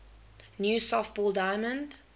new softball diamond